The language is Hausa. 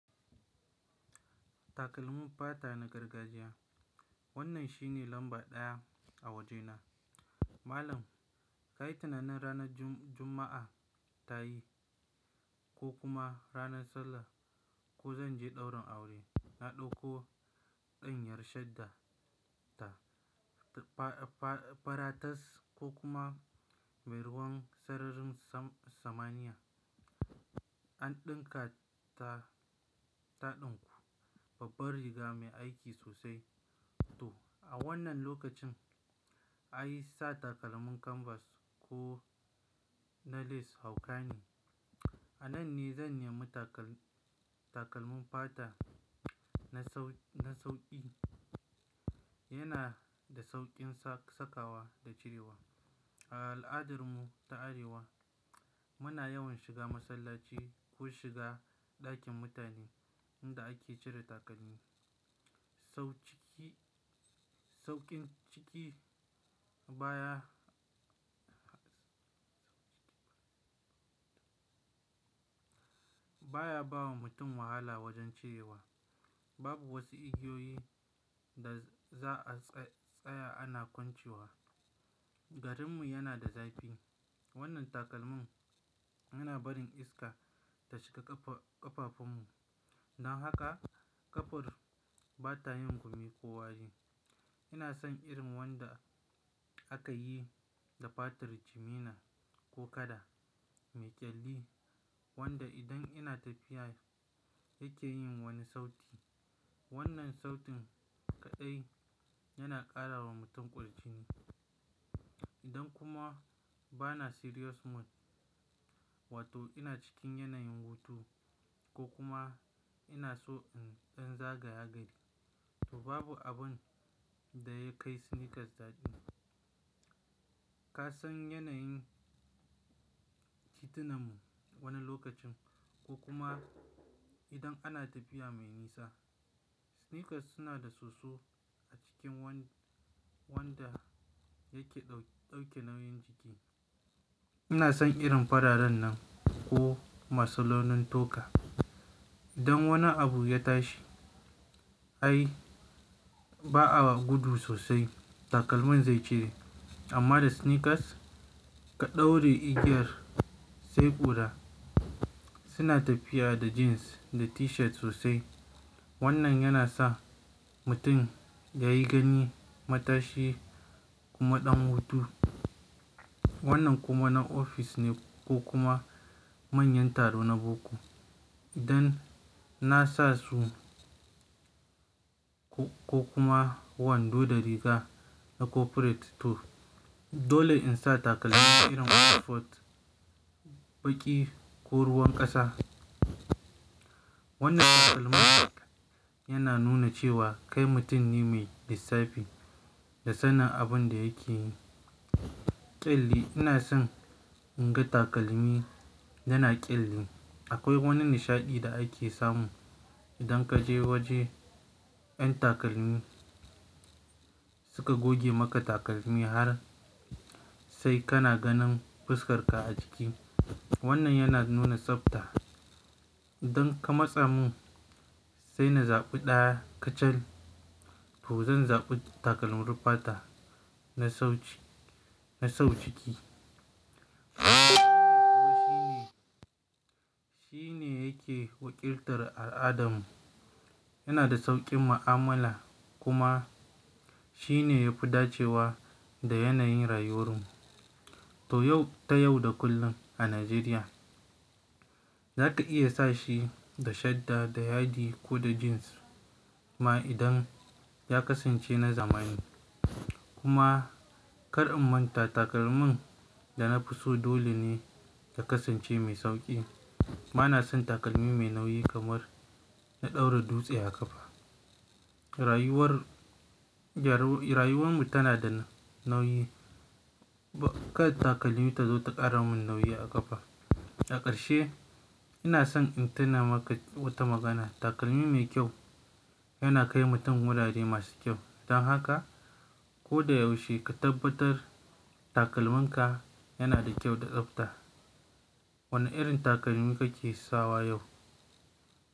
Takalmin fata na gargajiya. Wannan shine lamba ɗaya a wajena. Malam, kai tunanin ranar jumma'a ta yi ko kuma ranar sallah ko zan je ɗaurin aure, na ɗauko ɗan yar shadda ta, fa-fa-faratas ko kuma mai ruwan sararin sa-samania. An ɗinka ta, taɗinku, babbar riga mai aiki sosai. To, a wannan lokacin, an yi sa takalmin kanvas ko na lace haukani. A nan ne zan nemi takal-takalmin fata na sau-na sauƙi. Yana da sauƙin sa-sakawa da cirewa. A al'adarmu ta Arewa, muna yawan shiga masallaci ko shiga ɗakin mutane inda ake cire takalmi. Sau ciki, sauƙin ciki baya baya bawa mutum wahala wajen cirewa. Babu wasu igiyoyi da za a tsaya ana kwancewa. Garinmu yana da zafi. Wannan takalmin yana barin iska ta shiga ƙafa-ƙafafunmu. Don haka ƙafar bata yin gumi ko wari. Ina son irin wanda aka yi da fatar jimina ko kada, mai ƙyalli wanda idan ina tafiya yake yin wani sauti. Wannan sautin kaɗai yana ƙara wa mutum ƙurjini. Idan kuma bana serious mood, wato ina cikin yanayin hutu ko kuma ina so in zagaya gari, to babu abin da ya kai sneakers dadi. Ka san yanayin titunan mu wani lokacin ko kuma idan ana tafiya mai nisa. Sneakers suna da soso a cikin wan-wanda yake dau-dauke nauyin jiki. Ina son irin fararen nan ko masalonin toka. Idan wani abu ya tashi, ai ba'a gudu sosai. Takalmin zai cire. Amma da sneakers, ka ɗaura igiyar, sai ƙura. Suna tafiya da jeans da t-shirt sosai. Wannan yana sa mutum ya yi gani matashi kuma ɗan hutu. Wannan kuma na ofis ne ko kuma manyan taro na boko. Idan na sa su ko kuma wando da riga na corporate to dole in sa takalmi irin footfot, baƙi ko ruwan ƙasa. Wannan takalmin yana nuna cewa kai mutum ne mai lissafi da sanin abin da yake yi. Kyalli, ina son in ga takalmi yana ƙyalli. Akwai wani nishaɗi da ake samu idan ka je wajen 'yan takalmi suka goge maka takalmi har sai kana ganin fuskar ka a jiki. Wannan yana nuna tsafta. Don ka matsa mu, sai na zaɓi ɗaya kacal to zan zaɓi takalmin fata na sauci, na sau ciki. Shi ne, shi ne yake wakiltar al'adarmu. Yana da sauƙin mu'amala kuma shi ne ya fi dacewa da yanayin rayuwar mu. To yau ta yau da kullum a Najeriya, za ka iya sa shi da shadda, da yadi ko da jeans ma idan ya kasance na zamani. Kuma kar in manta takalmin da na fi so dole ne ya kasance mai sauƙi. Bana son takalmi mai nauyi kamar na ɗaura dutse a ƙafa. Rayuwar, rayuwar mu tana da nauyi. Ba kad takalmi ta zo ta ƙara mun nauyi a ƙafa. A ƙarshe, ina son in tuna maka wata magana. Takalmi mai kyau yana kai mutum wurare masu kyau. Don haka ko da yaushe ka tabbatar takalminka yana da kyau da tsafta. Wane irin takalmi kake sawa yau?